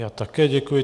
Já také děkuji.